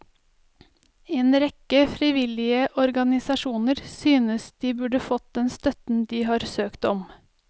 En rekke frivillige organisasjoner synes de skulle fått den støtten de har søkt om.